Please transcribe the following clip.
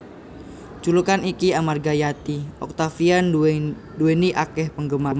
Julukan iki amarga Yati Octavia nduwèni akèh penggemar